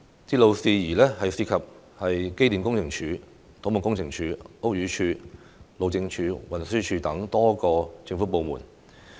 鐵路事宜涉及機電工程署、土木工程拓展署、屋宇署、路政署和運輸署等多個政府部門。